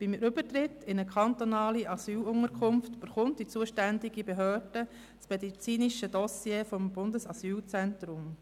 Beim Übertritt in eine kantonale Asylunterkunft erhält die zuständige Behörde das medizinische Dossier des Bundesasylzentrums.